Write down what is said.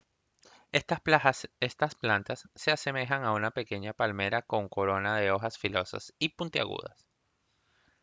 estas plantas se asemejan a una pequeña palmera con una corona de hojas filosas y puntiagudas